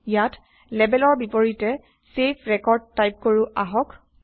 ইয়াত Labelৰ বিপৰীতে চেভ ৰেকৰ্ড টাইপ কৰো আহক